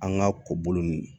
An ka ko bolo ninnu